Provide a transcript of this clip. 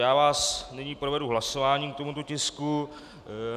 Já vás nyní provedu hlasováním k tomuto tisku.